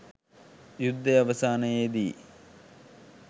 යුද්ධය අවසානයේදී